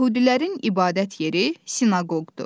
Yəhudilərin ibadət yeri sinaqoqdur.